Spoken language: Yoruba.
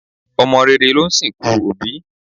Ọmọ rere ló ń sìnkú òbí